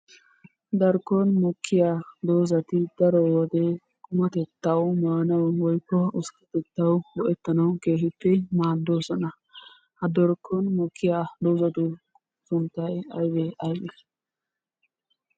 Darkkon mokkiya doozati daro wode qummatettawu maanawu woykko usttatettawu go"ettanawu keehippe maaddoosona. Ha darkkon mokkiya doozatu sunttay aybee aybee?